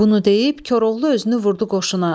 Bunu deyib Koroğlu özünü vurdu qoşuna.